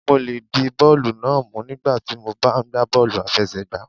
Ṣé mo lè di bọ́ọ̀lù náà mú nígbà tí mo bá ń gba bọ́ọ́lù àfẹsẹ̀gbá?